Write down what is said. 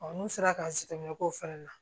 n'u sera k'an sɛgɛn k'o fana na